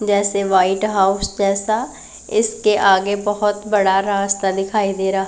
जैसे white house जैसा इसके आगे बहोत बड़ा रास्ता दिखाई दे रहा--